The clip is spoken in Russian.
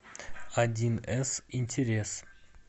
одинэс интерес